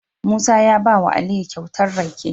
Musa ya bawa aliyu kyauta rake